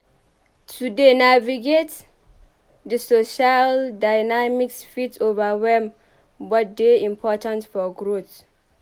To dey navigate di social dynamics fit overwhelm but dey important for growth.